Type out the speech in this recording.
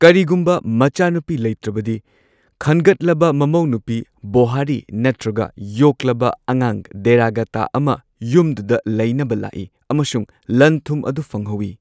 ꯀꯔꯤꯒꯨꯝꯕ ꯃꯆꯥꯅꯨꯄꯤ ꯂꯩꯇ꯭ꯔꯕꯗꯤ, ꯈꯟꯒꯠꯂꯕ ꯃꯃꯧꯅꯨꯄꯤ ꯕꯣꯍꯔꯤ ꯅꯠꯇ꯭ꯔꯒ ꯌꯣꯛꯂꯕ ꯑꯉꯥꯡ ꯗꯦꯔꯥꯒꯥꯇꯥ ꯑꯃ, ꯌꯨꯝꯗꯨꯗ ꯂꯩꯅꯕ ꯂꯥꯛꯏ ꯑꯃꯁꯨꯡ ꯂꯟ ꯊꯨꯝ ꯑꯗꯨ ꯐꯪꯍꯧꯏ꯫